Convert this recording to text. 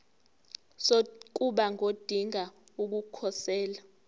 sokuba ngodinga ukukhosela